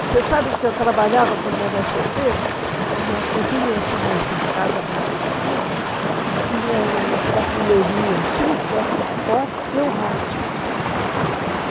Você sabe que eu trabalhava quando era solteira, e na cozinha, assim, nessa casa da primitiva, tinha uma prateleirinha assim, perto da porta, e o rádio.